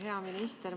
Hea minister!